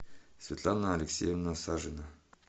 светлана алексеевна сажина